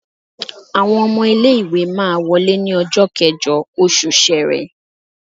Àwọn ọmọ ilé ìwé máa wọlé ní ọjọ́ kẹ́jọ oṣù Ṣẹrẹ.